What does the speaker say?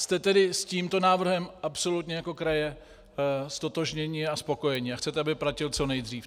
Jste tedy s tímto návrhem absolutně jako kraje ztotožněni a spokojeni a chcete, aby platil co nejdřív?